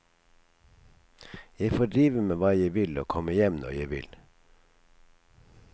Jeg får drive med hva jeg vil og komme hjem når jeg vil.